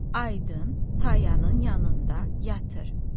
Aydın Tayanın yanında yatır.